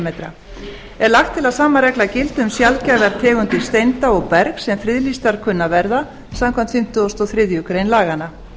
cm er lagt til að sama regla gildi um sjaldgæfar tegundir steinda og bergs sem friðlýstar kunna að verða samkvæmt fimmtugustu og þriðju grein laganna